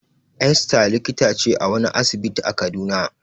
Esther likita ce a wani asibiti a Kaduna.